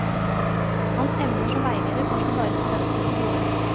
Hans evner som veileder kom ikke bare studentene til gode.